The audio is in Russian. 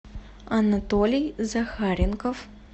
анатолий захаренков